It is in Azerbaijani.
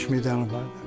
Beş medalı var.